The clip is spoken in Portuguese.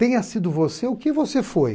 Tenha sido você o que você foi.